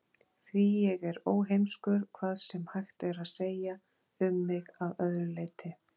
Því ég er óheimskur, hvað sem hægt er að segja um mig að öðru leyti.